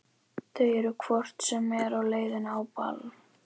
Þau eru hvort sem er á leið á ball.